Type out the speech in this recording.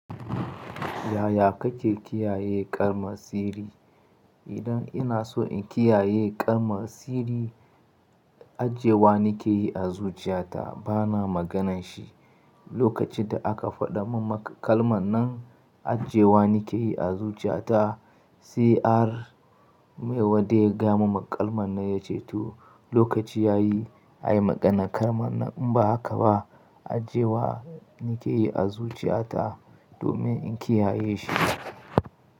Yaya kake kiyaye ƙaramsiri? Idan ina so in kiyaye ƙarmasiri, ajjewa nike yi a zuciyata bana maganar shi. Lokacin da aka faɗa min kalman nan. Ajjewa nike yi a zuciyata, se ar mai wadda ya gaya mun kalman nan ya ce to, lokaci ya yi ayi maganar kalman nan. In ba haka ba ajjewa nike yi a zuciyata. Domin in kiyaye shi.